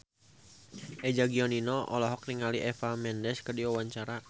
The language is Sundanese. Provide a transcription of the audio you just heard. Eza Gionino olohok ningali Eva Mendes keur diwawancara